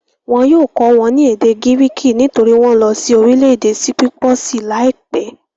Wọn yóò kọ́ wọn ní èdè gíríkì nítorí wọ́n ń lọ sí orílẹ̀-èdè sípípọ̀sì láìpẹ́.